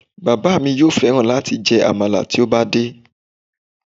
Bàbá mi yóò fẹ́ran láti jẹ àmàlà tí ó bá dé